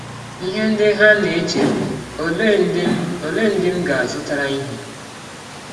Ihe ndị ha na - eche bụ: ‘ Ọlee ndị m Ọlee ndị m ga - azụtara ihe?